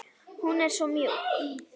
Hún er svo mjúk.